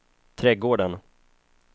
trädgården